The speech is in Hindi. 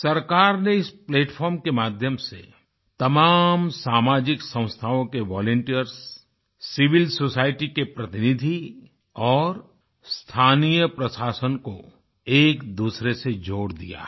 सरकार ने इस प्लैटफार्म के माध्यम से तमाम सामाजिक संस्थाओं के वॉलंटियर्स सिविल सोसाइटी के प्रतिनिधि और स्थानीय प्रशासन को एकदूसरे से जोड़ दिया है